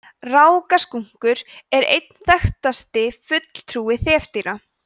rákaskunkur er einn þekktasti fulltrúi þefdýra